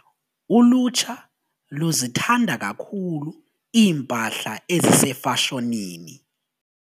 Ulutsha luzithanda kakhulu iimpahla ezisefashonini.